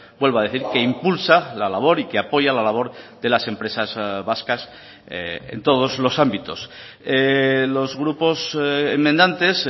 vuelvo a decir que impulsa la labor y que apoya la labor de las empresas vascas en todos los ámbitos los grupos enmendantes